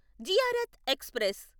Ziarat express